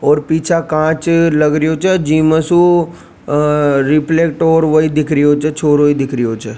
और पीछा कांच लाग रिया छ जिम सु रिफ्लेक्ट और छोरो दिख रहो छ।